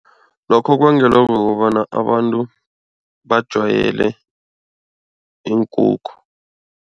Lokho kubangelwa kukobana abantu bajwayele iinkukhu.